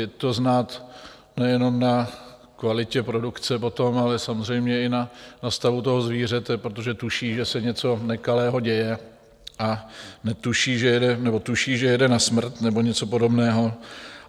Je to znát nejenom na kvalitě produkce potom, ale samozřejmě i na stavu toho zvířete, protože tuší, že se něco nekalého děje, a netuší, že jede - nebo tuší, že jede na smrt nebo něco podobného.